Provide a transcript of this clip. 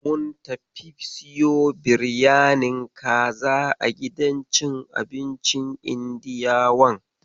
Mun fita siyo biryanin kaza a gidan cin abincin Indiyawan.